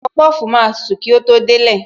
Popofu máa tutù kí ó tó délé